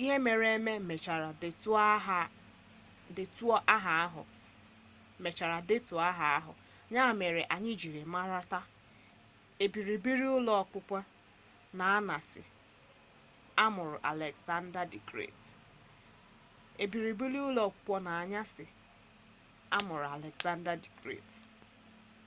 ihe mere eme mechara detuo aha ahụ ya mere anyi jiri mara taa ebibiri ụlọ okpukpe n'añasị amụrụ aleksada d gret